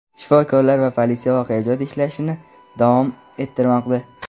shifokorlar va politsiya voqea joyida ishlashni davom ettirmoqda.